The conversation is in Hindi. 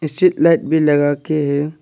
स्ट्रीट लाइट भी लगाके है।